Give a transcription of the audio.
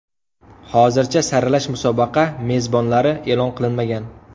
Hozircha saralash musobaqa mezbonlari e’lon qilinmagan.